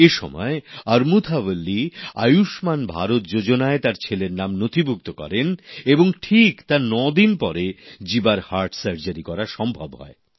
এসময় আমুর্থা বল্লি আয়ুষ্মান ভারত যোজনায় তার ছেলের নাম নথিভুক্ত করেন এবং ঠিক তার নয় দিন পরে জিবার হাট সার্জারি করা সম্ভব হয়